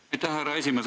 Aitäh, härra esimees!